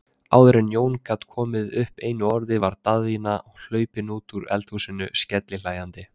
Áður en Jón gat komið upp einu orði var Daðína hlaupin út úr eldhúsinu, skellihlæjandi.